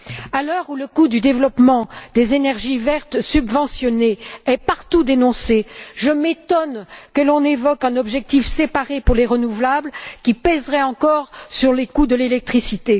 À l'heure où le coût du développement des énergies vertes subventionnées est partout dénoncé, je m'étonne que l'on évoque un objectif séparé pour les énergies renouvelables, qui pèserait encore sur les coûts de l'électricité.